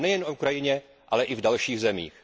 A nejen na Ukrajině, ale i v dalších zemích.